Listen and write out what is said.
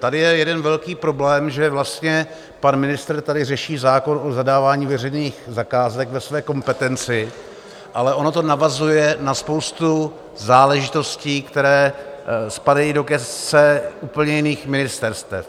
Tady je jeden velký problém, že vlastně pan ministr tady řeší zákon o zadávání veřejných zakázek ve své kompetenci, ale ono to navazuje na spoustu záležitostí, které spadají do gesce úplně jiných ministerstev.